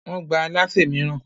Wọ́n gbà alásè mìíràn.